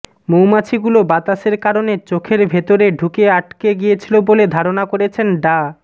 মৌমাছিগুলো বাতাসের কারণে চোখের ভেতরে ঢুকে আটকে গিয়েছিল বলে ধারণা করছেন ডা